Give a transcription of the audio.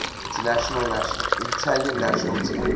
italian national team